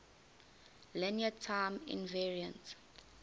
linear time invariant